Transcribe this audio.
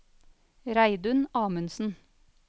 Reidun Amundsen